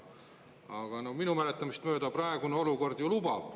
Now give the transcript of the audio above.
Aga minu mäletamist mööda praegune olukord ju seda lubab.